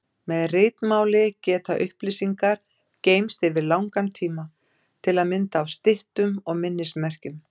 Með ritmáli geta upplýsingar geymst yfir langan tíma, til að mynda á styttum og minnismerkjum.